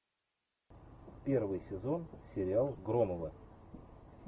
первый сезон сериал громовы